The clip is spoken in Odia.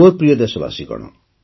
ମୋର ପ୍ରିୟ ଦେଶବାସୀଗଣ